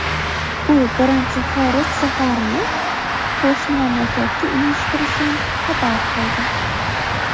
U birinchi xorij safarini qo‘shni mamlakatga uyushtirishini xabar qildi.